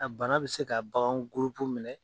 A bana bɛ se ka bagan minɛ